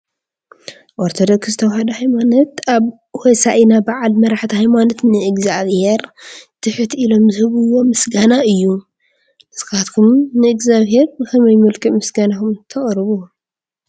ኦርቶዶክስ ተዋህዶ ሃይማኖት ኣብ ሆሳእና በዓል መራሕቲ ሃይማኖት ንእግዚኣብሄር ትሕት ኢሎም ዝህብዎ ምስጋና እዩ። ንስኻትኩም ንእግዚኣብሄር ብኸመይ መልክዕ ምስጋናኹም ተቕርቡ?